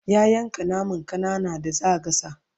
ya yanka naman ƙanana da zaa gasa